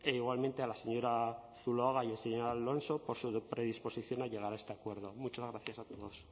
igualmente a la señora zuluaga y el señor alonso por su predisposición a llegar a este acuerdo muchas gracias a todos